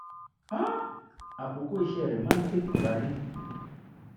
um àkókò iṣẹ́ rẹ̀ máa ń tètè parí